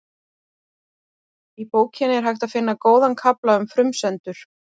Í bókinni er hægt að finna góðan kafla um frumsendur.